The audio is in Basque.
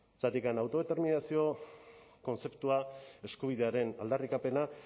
zergatik autodeterminazio kontzeptua eskubidearen aldarrikapena